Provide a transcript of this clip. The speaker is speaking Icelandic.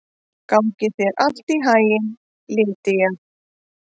Gangi þér allt í haginn, Lýdía.